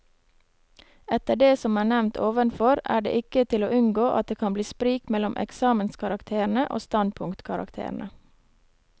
Etter det som er nevnt ovenfor, er det ikke til å unngå at det kan bli sprik mellom eksamenskarakterene og standpunktkarakterene.